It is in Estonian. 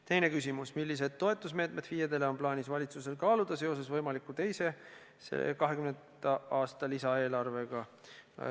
Teine küsimus: millised toetusmeetmeid FIE-dele on plaanis valitsusel kaaluda seoses võimaliku teise 2020. aasta lisaeelarvega?